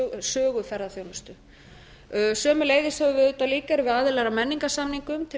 um söguferðaþjónustu sömuleiðis höfum við auðvitað líka verið aðilar að menningarsamningum til